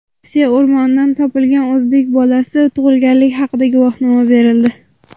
Rossiya o‘rmonidan topilgan o‘zbek bolasiga tug‘ilganlik haqida guvohnoma berildi.